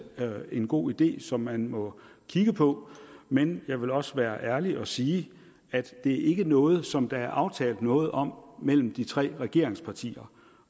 en god idé som man må kigge på men jeg vil også være ærlig og sige at det ikke er noget som der er aftalt noget om mellem de tre regeringspartier